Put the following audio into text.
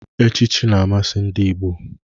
Echichi na-amasị ndị Igbo.